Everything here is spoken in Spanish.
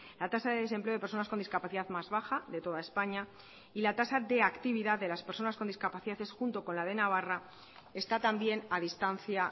la tasa de desempleo de personas con discapacidad más baja de toda españa y la tasa de actividad de las personas con discapacidades junto con la de navarra está también a distancia